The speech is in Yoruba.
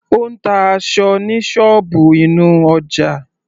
Ó ń ta aṣọ ní ṣọ́ọ̀bù inú ọjà.